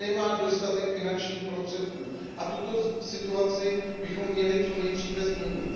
nemá dostatek finančních prostředků, a tuto situaci bychom měli co nejdříve změnit.